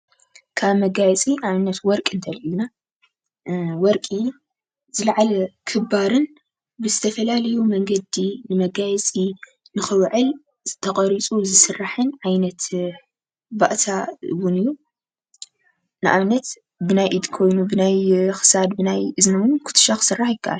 ካብ መጋየፂ ንኣብነት ወርቂ ወርቂ እንተልዕልና ወርቂ ዝለዓለ ክባርን ብዝተፈላለዩ መንገዲ መጋየፂ ንክውዕል ተቀሪፁ ዝስራሕን ዓይነት ባእታ እውን እዩ፡፡ ንኣብነት ብናይ ኢድ ኮይኑ ብናይ ክሳድ፣ ብናይ እዝኒ እውን ኩትሻ ክስራሕ ይከአል፡፡